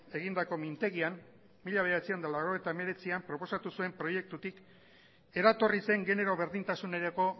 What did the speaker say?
egindako mintegian mila bederatziehun eta laurogeita hemeretzian proposatu zuen proiektutik eratorri zen genero berdintasunerako